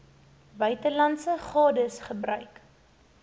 buitelandse gades gebruik